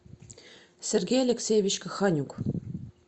сергей алексеевич коханюк